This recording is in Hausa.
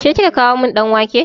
Ke kika kawo min ɗan wake?